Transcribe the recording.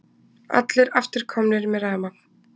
Allir aftur komnir með rafmagn